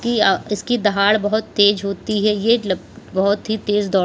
की अ इसकी दहाड़ बोहोत तेज होती है यह लप बोहोत ही तेज दौड़ --